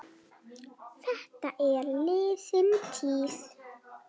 Þetta er liðin tíð.